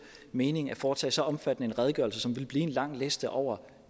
mening at foretage så omfattende en redegørelse som ville blive en lang liste over